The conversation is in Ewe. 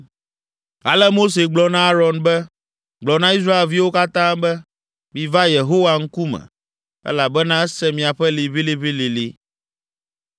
Ale Mose gblɔ na Aron be, “Gblɔ na Israelviwo katã be, ‘Miva Yehowa ŋkume, elabena ese miaƒe liʋĩliʋĩlilĩ.’ ”